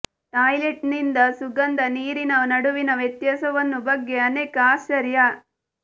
toilet ನಿಂದ ಸುಗಂಧ ನೀರಿನ ನಡುವಿನ ವ್ಯತ್ಯಾಸವನ್ನು ಬಗ್ಗೆ ಅನೇಕ ಆಶ್ಚರ್ಯ